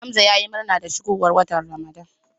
Hamza yayi murna da shigowar watan Ramadan.